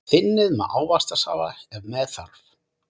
Þynnið með ávaxtasafa ef með þarf.